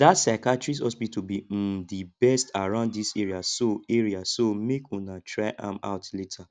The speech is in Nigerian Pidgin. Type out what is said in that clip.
dat psychiatrist hospital be um the best around dis area so area so make una try am out later